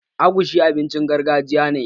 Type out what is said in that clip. Agushi abincin gargajiya ne